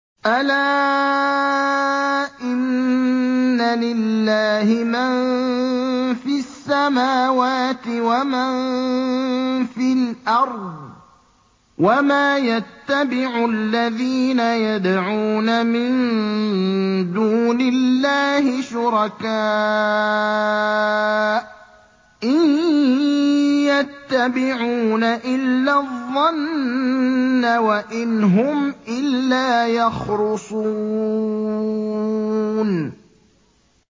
أَلَا إِنَّ لِلَّهِ مَن فِي السَّمَاوَاتِ وَمَن فِي الْأَرْضِ ۗ وَمَا يَتَّبِعُ الَّذِينَ يَدْعُونَ مِن دُونِ اللَّهِ شُرَكَاءَ ۚ إِن يَتَّبِعُونَ إِلَّا الظَّنَّ وَإِنْ هُمْ إِلَّا يَخْرُصُونَ